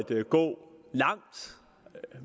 gå langt